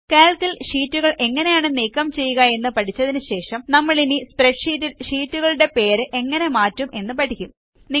Calc ൽ ഷീറ്റുകൾ എങ്ങനെയാണ് നീക്കംചെയ്യുക എന്ന് പഠിച്ചതിനു ശേഷം നമ്മളിനി സ്പ്രെഡ്ഷീറ്റിൽ ഷീറ്റുകളുടെ പേര് എങ്ങനെ മാറ്റും എന്ന് പഠിക്കും